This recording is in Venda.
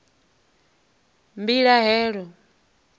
mbilahelo